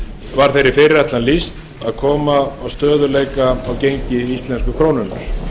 var þeirri fyrirætlan lýst að koma á stöðugleika á gengi íslensku krónunnar